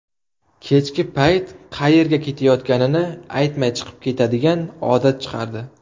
Kechki payt qayerga ketayotganini aytmay chiqib ketadigan odat chiqardi.